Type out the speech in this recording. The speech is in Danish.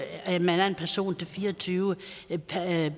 at man er én person til fire og tyve